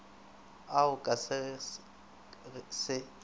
ao ka ge se se